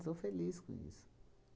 Sou feliz com isso.